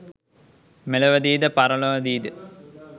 මෙලොවදීද පරලොවදීද